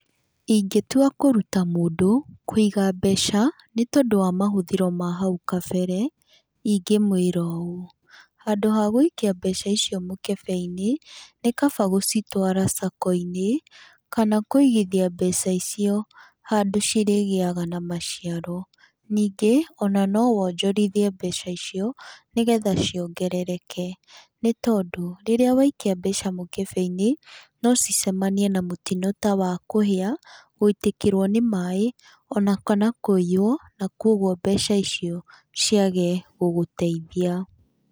Ingĩtua kũruta mũndũ kũiga mbeca nĩ tondũ wa mahũthĩro ma hau kabere, ingĩmwĩra ũũ, handũ ha gũikia mbeca icio mũkebe-inĩ, nĩ kaba gũcitwara Sacco-inĩ kana kũigithia mbeca icio handũ cirĩgĩaga na maciaro. Ningĩ, ona no wonjorithie mbeca icio, nĩgetha ciongerereke, nĩ tondũ rĩrĩa waikia mbeca mũkebe-inĩ, no cicemanie na mũtino ta wakũhia, gũitĩkĩrũo nĩ maĩ ona kana kũiywo na koguo mbeca icio ciage gũgũteithia.